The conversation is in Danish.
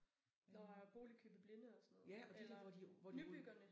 Der er boligkøb i blinde og sådan noget eller nybyggerne